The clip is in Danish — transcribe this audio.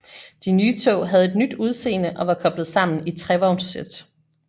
De nye tog havde et nyt udseende og var koblet sammen i trevognssæt